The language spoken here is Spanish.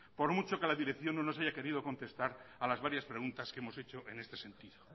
por mucho que la dirección no nos haya querido contestar a las varias preguntas que hemos hecho en este sentido